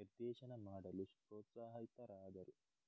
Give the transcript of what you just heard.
ನಿರ್ದೇಶನ ಮಾಡಲು ಪ್ರೋತ್ಸಾಹಿತರಾದರು